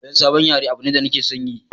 Koyan sabon yare abu ne da nake son yi